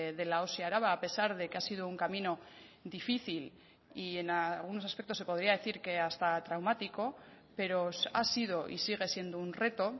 de la osi araba a pesar de que ha sido un camino difícil y en algunos aspectos se podría decir que hasta traumático pero ha sido y sigue siendo un reto